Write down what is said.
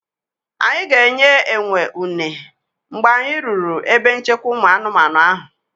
Anyị ga-enye enwe uner mgbe anyị ruru ebe nchekwa ụmụ anụmanụ ahụ.